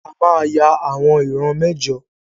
A máa ya àwọn ìran mẹ́jọ.